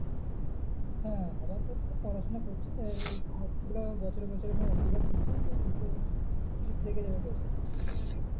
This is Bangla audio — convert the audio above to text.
হ্যাঁ আবার তোর তো পড়াশোনা করছিস এই scholarship টা বছরে বছরে ভাই এক দু বার ঢুকবে ওতেই তো কিছু থেকে যাবে পয়সাটা